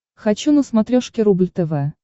хочу на смотрешке рубль тв